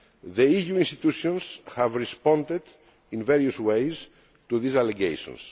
The EU institutions have responded in various ways to these allegations.